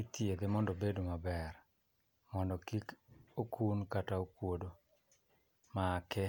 ithiedhe mondo obed maber mondo kik okun kata okuodo make.